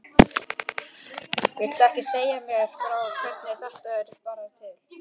Viltu ekki segja mér frá hvernig þetta bar til?